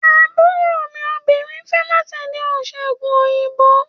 Àbúrò mi obìnrin ń fẹ́ láti di oníṣègùn òyìnbó.